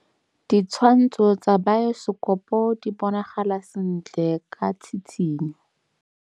Ditshwantshô tsa biosekopo di bonagala sentle ka tshitshinyô.